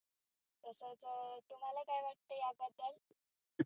तसच तुम्हाला काय वाटतं याबद्दल?